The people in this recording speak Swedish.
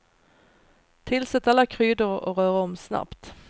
Tillsätt alla kryddor och rör om snabbt.